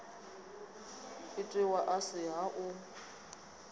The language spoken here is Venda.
itiwa a si ha u